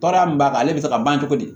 Baara min b'a kan ale bɛ se ka ban cogo di